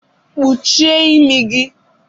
Kpuchie imi gị!